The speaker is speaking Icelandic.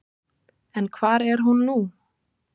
En hvar er hún nú?